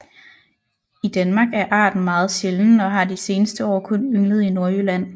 I Danmark er arten meget sjælden og har de seneste år kun ynglet i Nordjylland